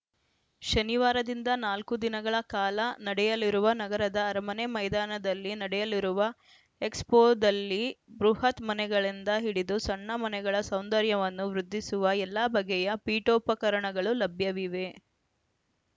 ಶನಿವಾರದಿಂದ ನಾಲ್ಕು ದಿನಗಳ ಕಾಲ ನಡೆಯಲಿರುವ ನಗರದ ಅರಮನೆ ಮೈದಾನದಲ್ಲಿ ನಡೆಯಲಿರುವ ಎಕ್ಸ್‌ಫೋದಲ್ಲಿ ಬೃಹತ್‌ ಮನೆಗಳಿಂದ ಹಿಡಿದು ಸಣ್ಣ ಮನೆಗಳ ಸೌಂದರ್ಯವನ್ನು ವೃದ್ಧಿಸುವ ಎಲ್ಲ ಬಗೆಯ ಪೀಠೋಪಕರಣಗಳು ಲಭ್ಯವಿವೆ